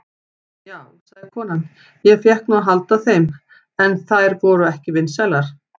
Já, sagði konan, ég fékk nú að halda þeim, en þær voru ekki vinsælar.